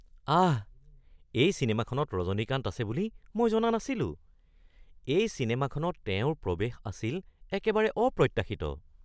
আহ! এই চিনেমাখনত ৰজনীকান্ত আছে বুলি মই জনা নাছিলো। এই চিনেমাখনত তেওঁৰ প্ৰৱেশ আছিল একেবাৰে অপ্ৰত্যাশিত।